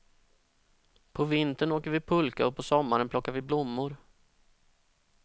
På vintern åker vi pulka och på sommaren plockar vi blommor.